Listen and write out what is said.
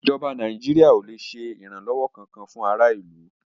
ìjọba Nàìjíríà ò lè ṣe ìrànlọ́wọ́ kankan fún ará ìlú.